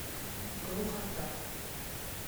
глухота